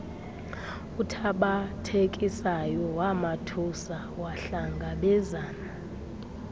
uthabathekisayo wamathuba wahlangabezana